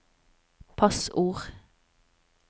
passord